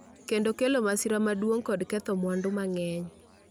kendo kelo masira maduong' kod ketho mwandu mang’eny.